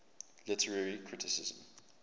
literary criticism